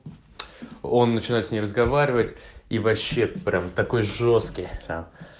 он начинает с ней разговаривать и вообще прям такой жёсткий а